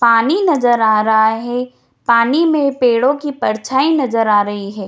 पानी नजर आ रहा है पानी में पेड़ो की परछाई नजर आ रही हैं।